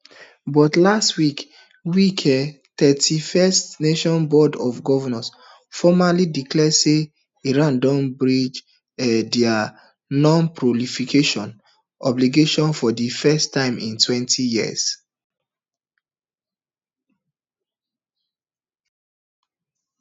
but last week week iaea thirty-fivenation board of governors formally declare say iran don breach um dia nonproliferation obligations for di first time in twenty years